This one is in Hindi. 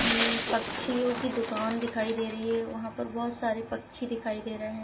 ई पक्षीयो की दुकान दिखाई दे रही है। यहाँ पर बोहोत सारे पक्षी दिखाई दे रहे है।